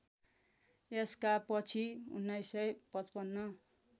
यसका पछि १९५५